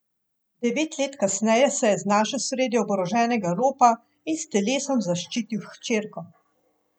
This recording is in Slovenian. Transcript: Devet let kasneje se je znašel sredi oboroženega ropa in s telesom zaščitil hčerko.